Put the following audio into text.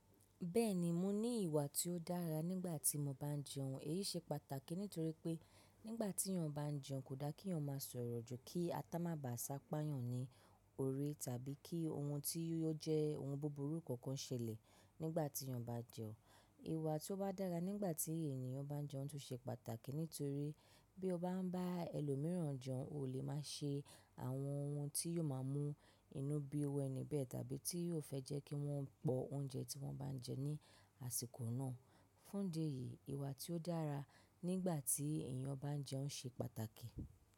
Bẹ́ẹ̀ni, mo ní ìwà tí ó dára nígbà tí mo bá ń jẹun. Èyí ṣe pàtàkì nítorí pé nígbà tí èèyàn bá ń jẹun kò da kí èèyàn máa sọ̀rọ̀ jù kí atá má ba à sapá yàn ní orí tàbí kí ohun tí yóò jẹ́ ohun búburú kankan ṣẹlẹ̀ nígbà tí èèyàn bá jẹun. Ìwà tó bá dára nígbà tí ènìyàn bá ń jẹun tún ṣe pàtàkì nítorí bí o bá ń bá ẹlòmíràn jẹun, o lè má se àwọn ohun tí yóò má mú inú bí iru eni bẹ̀ tàbí tí yóò fẹ́ jẹ́ kí wọ́n pò oúnjẹ tí wọ́n bá ń jẹ ní àsìkò náà. Fún di eyí, ìwà tí ó dára nígbà tí èèyàn bá ń jẹun ṣe pàtàkì.